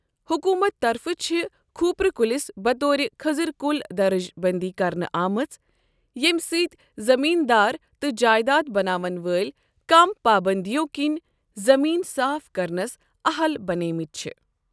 حکومتہٕ طرفہٕ چھ کھوٗپرٕ کُلِس بطور خٔضز کُل درجہِ بندی کرنہٕ آمٕژ ییمِہ سۭتۍ زمین دار تہٕ جایداد بناون وٲلۍ کم پابندیو كنۍ زمیٖن صاف کرنس اہل بنیمِتۍ چھِ ۔